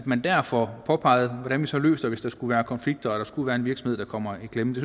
man der få påpeget hvordan vi så løser det hvis der skulle være konflikter eller hvis der skulle være en virksomhed der kommer i klemme det